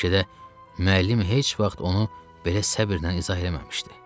Bəlkə də müəllim heç vaxt onu belə səbrlə izah eləməmişdi.